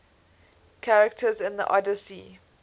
characters in the odyssey